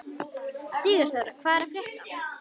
Sigurþóra, hvað er að frétta?